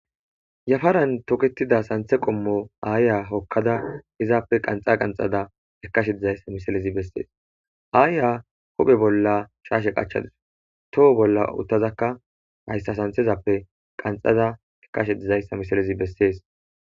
yafaran toketida santhe qommo aayiya hokkada izaappe qanxa qanxada ekashe dizayssa misilezi bessees aaya huphe bolla shaashe qachadus toho bolla uttazakka hayssa santhezappe qanxada ekkashe dizayssa misilezi bessees.